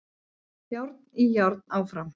Járn í járn áfram